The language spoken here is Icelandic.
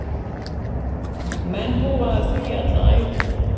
Menn búa að því alla ævi.